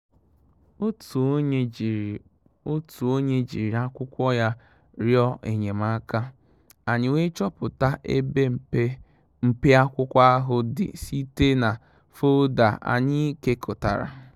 Òtù ónyé jírí Òtù ónyé jírí ákwụ́kwọ́ yá rị́ọ̀ é nyé màká, ànyị́ wèé chọ́pụ́tà ébè mpé-mpé ákwụ́kwọ́ áhụ́ dì sí té nà fóldà ànyị́ kékọ́tàrà.